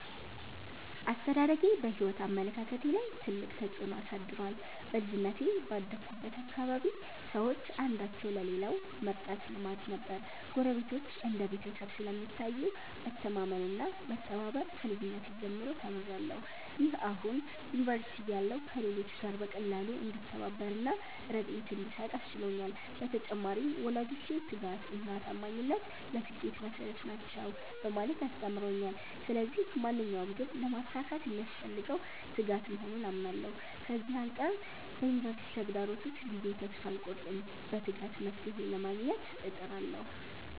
አስተዳደጌ በሕይወት አመለካከቴ ላይ ትልቅ ተጽዕኖ አሳድሯል። በልጅነቴ ባደግሁበት አካባቢ ሰዎች አንዳቸው ለሌላው መርዳት ልማድ ነበር። ጎረቤቶች እንደ ቤተሰብ ስለሚታዩ፣ መተማመን እና መተባበር ከልጅነቴ ጀምሮ ተምሬያለሁ። ይህ አሁን ዩኒቨርሲቲ እያለሁ ከሌሎች ጋር በቀላሉ እንድተባበር እና ርድኤት እንድሰጥ አስችሎኛል። በተጨማሪም፣ ወላጆቼ 'ትጋት እና ታማኝነት ለስኬት መሠረት ናቸው' በማለት አስተምረውኛል። ስለዚህ ማንኛውንም ግብ ለማሳካት የሚያስፈልገው ትጋት መሆኑን አምናለሁ። ከዚህ አንጻር በዩኒቨርሲቲ ተግዳሮቶች ጊዜ ተስፋ አልቆርጥም፤ በትጋት መፍትሔ ለማግኘት እጥራለሁ።